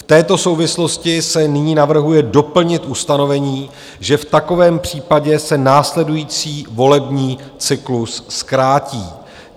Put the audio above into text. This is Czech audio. V této souvislosti se nyní navrhuje doplnit ustanovení, že v takovém případě se následující volební cyklus zkrátí.